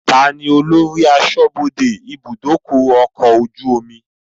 Taàní ólori aṣọ́bodè ibùdókọ̀ ọkọ̀ ojú omi?